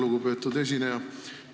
Lugupeetud esineja!